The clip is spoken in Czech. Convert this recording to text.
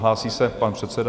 Hlásí se pan předseda.